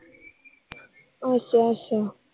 ਅੱਛਾ ਅੱਛਾ